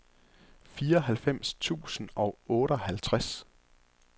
fireoghalvfems tusind og otteoghalvtreds